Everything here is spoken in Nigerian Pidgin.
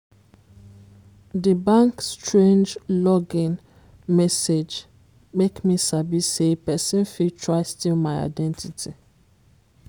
di bank strange login message make me sabi say person fit try steal my identity